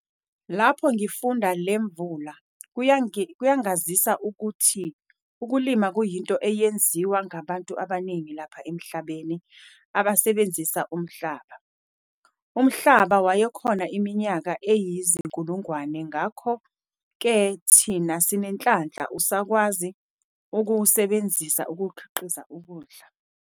Lapho ngifunda le Mvula kuyangazisa ukuthi ukulima kuyinto eyenziwa ngabantu abaningi lapha emhlabeni abasebenzisa umhlaba. Umhlaba wayekhona iminyaka eyizinkulungwane, ngakho-ke thina sinenhlanhla usakwazi ukuwusebenzisa ukukhiqiza ukudla.